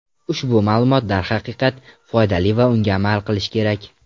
Ushbu ma’lumot, darhaqiqat, foydali va unga amal qilish kerak.